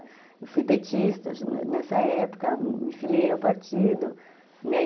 Eu fui petista nessa época, me filiei ao partido, né?